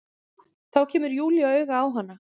Þá kemur Júlía auga á hana.